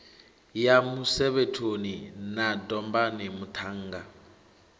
ya musevhethoni na dombani muṱhannga